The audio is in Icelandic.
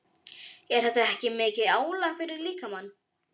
Er þetta ekki mikið álag fyrir líkamann?